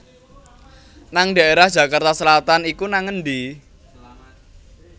nang daerah Jakarta Selatan iku nang endi